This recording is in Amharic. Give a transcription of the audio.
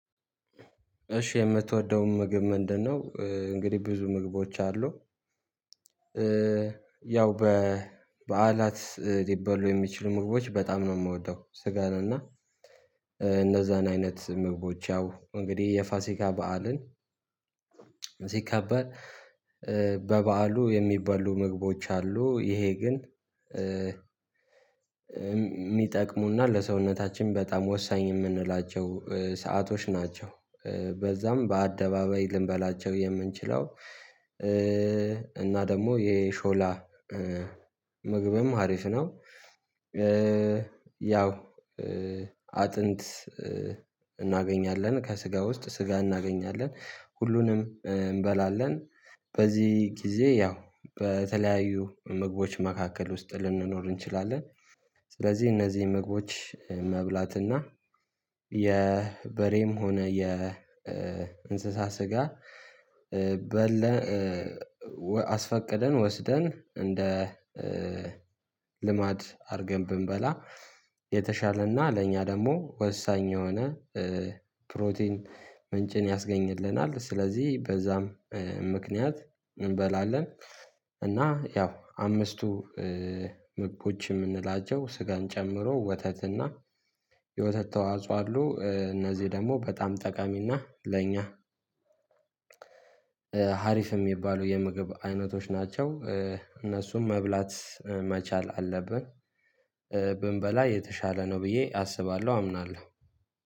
እሺ የምትወደውን ምግብ ምንድነው? እንግዲህ ብዙ ምግቦች አሉ ያው በበዓላት ሊባሉ የሚችሉ ምግቦች በጣም ነው የምወደው። ስጋን እና እነዛን አይነት ምግቦች ያው እንግዲህ የፋሲካ በዓልን ሲከበር በበዓሉ የሚባሉ ምግቦች አሉ ይሄ ግን የሚጠቅሙና ለሰውነታችን በጣም ወሳኝ የምንላቸው ሰአቶች ናቸው። በዛም በአደባባይ ልንበላቸው የምንችለው እና ደግሞ የሾላ ምግብም አሪፍ ነው። ያው አጥንት እናገኛለን ከስጋ ውስጥ ስጋ እናገኛለን ሁሉንም እንበላለን በዚህ ጊዜ ያው በተለያዩ ምግቦች መካከል ውስጥ ልንኖር እንችላለን። ስለዚህ እነዚህ ምግቦች መብላትና የበሬም ሆነ የእንስሳ ስጋ በለን አስፈቅደን ወስደን እንደ ልማድ አድርገን ብንበላ የተሻለና ለእኛ ደግሞ ወሳኝ የሆነ ፕሮቲን ምንጭን ያስገኝልናል። ስለዚህ በዛም እንበላለን እና ያው አምስቱ ምግቦች የምንላቸው ስጋን ጨምሮ ወተትና የወተት ተዋጽኦ አሉ እነዚህ ደግሞ በጣም ጠቃሚና ለኛ ሀሪፍም የሚባሉ የምግብ አይነቶች ናቸው። እነሱም መብላት መቻል አለብን። ብንበላ የተሻለ ነው ብዬ አስባለሁ አምናለሁ